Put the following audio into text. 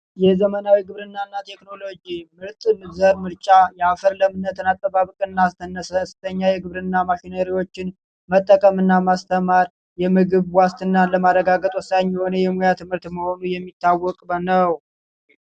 ዘመናዊ ግብርናና ቴክኖሎጂ ምርምር ምርጫ የአፈር ለምነት አጠባበቅና አስነስተኛ የግብርና መኪናዎችን መጠቀም እና ማስተማር የምግብ ዋስትናን ለማረጋገጥ ወሳኝ የሆነ የሙያ ትምህርት መሆኑ የሚታወቅ ነው